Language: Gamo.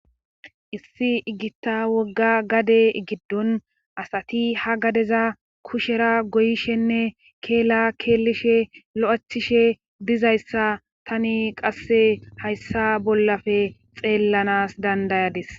Issi igitta wogga gade giddon asati ha gadeza kushera goyishenne keela keellishe lo7achishe dizayssa tani qasse hayssa bollafe xeellanas dandayadis